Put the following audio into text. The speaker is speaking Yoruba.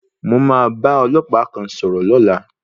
Mo máa bá ọlọ́pàá kan sọ̀rọ̀ lọ́la.